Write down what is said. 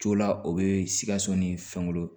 Jo la o bɛ sikaso ni fɛnw ye